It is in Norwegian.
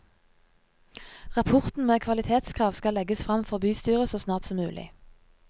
Rapporten med kvalitetskrav skal legges frem for bystyret så snart som mulig.